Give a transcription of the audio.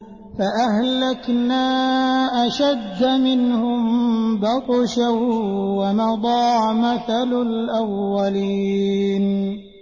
فَأَهْلَكْنَا أَشَدَّ مِنْهُم بَطْشًا وَمَضَىٰ مَثَلُ الْأَوَّلِينَ